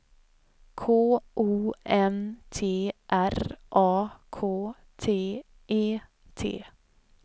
K O N T R A K T E T